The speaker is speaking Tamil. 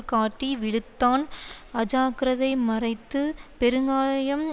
காட்டி விழுத்தான் அஜாக்கிரதை மறைத்து பெருங்காயம்